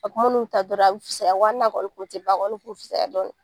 A kun man'u ta dɔrɔn a bi fisaya wa hali n'a kɔni kun ti ban a kɔni kun bi fisaya dɔɔni.